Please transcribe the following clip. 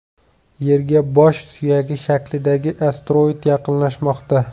Yerga bosh suyagi shaklidagi asteroid yaqinlashmoqda.